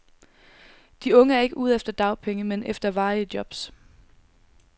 De unge er ikke ude efter dagpenge, men efter varige jobs.